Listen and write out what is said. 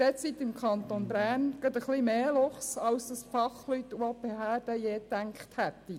Derzeit hat es im Kanton Bern gerade etwas mehr Luchse, als die Fachleute und Behörden gedacht haben.